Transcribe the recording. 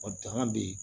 Ɔ danga bɛ yen